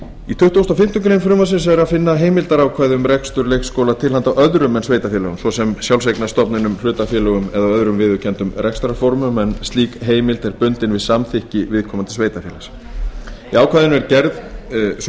í tuttugasta og fimmtu grein frumvarpsins er að finna heimildarákvæði um rekstur leikskóla til handa öðrum en sveitarfélögum svo sem sjálfseignarstofnunum hlutafélögum eða öðrum viðurkenndum rekstrarformum en slík heimild er bundin við samþykki viðkomandi sveitarfélags í ákvæðinu er gerð sú